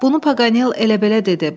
Bunu Paqanel elə-belə dedi.